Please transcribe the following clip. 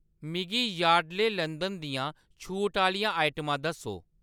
मिगी याडली लंदन दियां छूट आह्‌‌‌लियां आइटमां दस्सो।